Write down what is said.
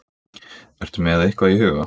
Ertu með eitthvað í huga?